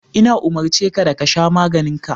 Ina umurce ka da ka sha maganin ka.